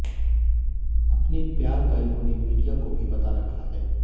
अपने प्यार का इन्होने मीडिया को भी बता रखा हैं